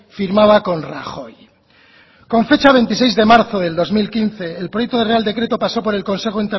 firmaba con rajoy con fecha veintiséis de marzo de dos mil quince el proyecto del real decreto pasó por el consejo